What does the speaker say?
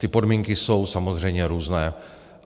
Ty podmínky jsou samozřejmě různé.